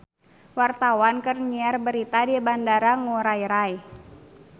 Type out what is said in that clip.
Wartawan keur nyiar berita di Bandara Ngurai Rai